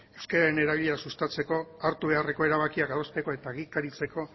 euskararen erabilera sustatzeko hartu beharreko erabakiak adosteko eta egikaritzeko